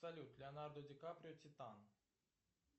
салют леонардо ди каприо титан